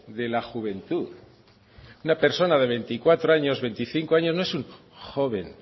de la juventud una persona de veinticuatro años veinticinco años no es un joven